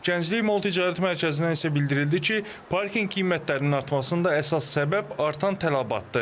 Gənclik Mall Ticarət Mərkəzindən isə bildirildi ki, parkinq qiymətlərinin artmasının əsas səbəbi artan tələbatdır.